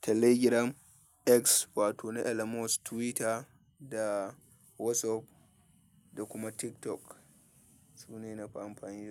Telegram, X, wato na Elon Musk, Twitter da WhatsApp da kuma TikTok. Su ne nafi amfani da su.